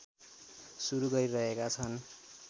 सुरू गरिरहेका छन्